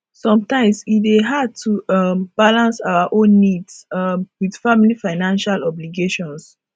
sometimes e dey hard to um balance our own needs um with family financial obligations